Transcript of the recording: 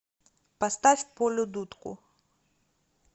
поставь полю дудку